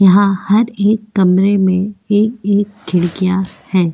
यहां हर एक कमरे में एक-एक खिड़कियां हैं।